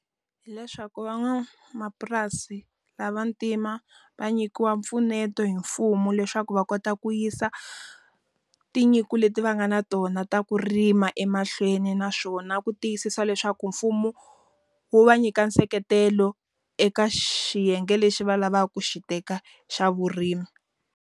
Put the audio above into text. Hi leswaku van'wamapurasi va vantima va nyikiwa mpfuneto hi mfumo leswaku va kota ku yisa tinyiko leti va nga na tona ta ku rima emahlweni naswona ku tiyisisa leswaku mfumo, wu va nyika nseketelo eka xiyenge lexi va lavaka ku xi teka xa vurimi.